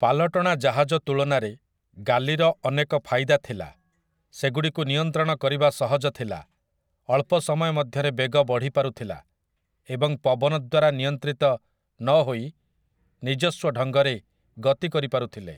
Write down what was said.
ପାଲଟଣା ଜାହାଜ ତୁଳନାରେ ଗାଲିର ଅନେକ ଫାଇଦା ଥିଲା, ସେଗୁଡ଼ିକୁ ନିୟନ୍ତ୍ରଣ କରିବା ସହଜ ଥିଲା, ଅଳ୍ପ ସମୟ ମଧ୍ୟରେ ବେଗ ବଢ଼ି ପାରୁଥିଲା, ଏବଂ ପବନ ଦ୍ୱାରା ନିୟନ୍ତ୍ରିତ ନହୋଇ ନିଜସ୍ୱ ଢଙ୍ଗରେ ଗତି କରିପାରୁଥିଲେ ।